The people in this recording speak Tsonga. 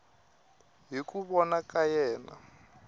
hi ku vona ka yena